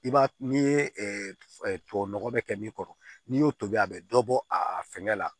I b'a n'i ye tubabu nɔgɔ bɛ kɛ min kɔrɔ n'i y'o tobi a bɛ dɔ bɔ a fɛnkɛ la